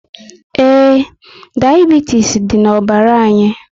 Ee, diabitis dị na ọbara anyi